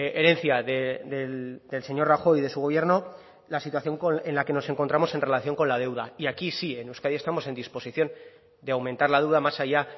herencia del señor rajoy y de su gobierno la situación en la que nos encontramos en relación con la deuda y aquí sí en euskadi estamos en disposición de aumentar la duda más allá